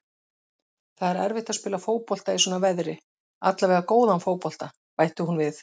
Það er erfitt að spila fótbolta í svona veðri, allavega góðan fótbolta, bætti hún við.